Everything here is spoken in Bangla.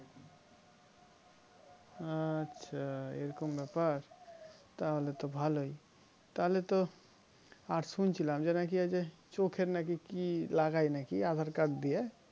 আচ্ছা এরকম ব্যাপার তাহলে তো ভালোই তাহলে তো আর শুনেছিলাম যে নাকি এই যে চোখের নাকি কি লাগায় নাকি aadhar card দিয়ে